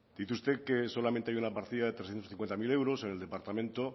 dice usted que solamente hay una partida de trescientos cincuenta mil euros en el departamento